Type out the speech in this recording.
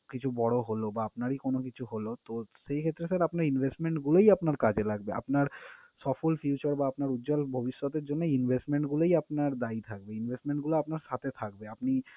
কিছু বড় হলো বা আপনারই কোন কিছু হলো, তো সেই ক্ষেত্রে sir আপনার investment গুলোই আপনার কাজে লাগবে। আপনার সফল future বা আপনার উজ্জ্বল ভবিষ্যতের জন্য এই investment গুলোই আপনার দ্বায় থাকবে, investment গুলো আপনার সাথে থাকবে। আপনি